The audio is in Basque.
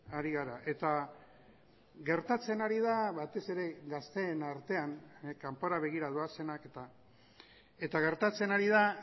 ari gara eta gertatzen ari da batez ere gazteen artean kanpora begira doazenak eta gertatzen ari da